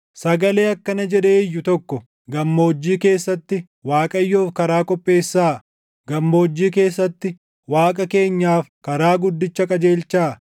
Sagalee akkana jedhee iyyu tokko: “Gammoojjii keessatti Waaqayyoof karaa qopheessaa; gammoojjii keessatti Waaqa keenyaaf karaa guddicha qajeelchaa.